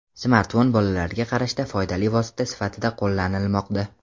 Smartfon bolalarga qarashda foydali vosita sifatida qo‘llanilmoqda.